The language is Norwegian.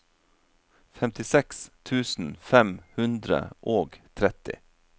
femtiseks tusen fem hundre og tretti